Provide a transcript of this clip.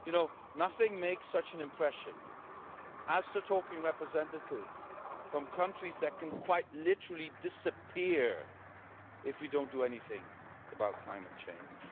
You know, nothing makes such an impression as talking to representatives from countries that can quite literally disappear if we don't do anything about climate change.